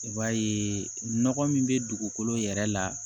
I b'a ye nɔgɔ min bɛ dugukolo yɛrɛ la